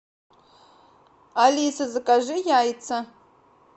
алиса закажи яйца